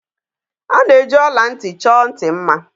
A na-eji ọla ntị chọọ ntị mma.